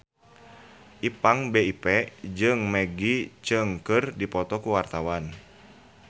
Ipank BIP jeung Maggie Cheung keur dipoto ku wartawan